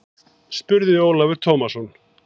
spurði Ólafur Tómasson.